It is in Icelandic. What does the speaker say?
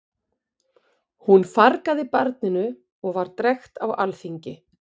Hún fargaði barninu og var drekkt á alþingi.